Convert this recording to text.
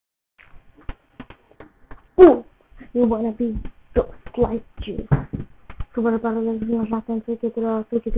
Snævar, hvað heitir þú fullu nafni?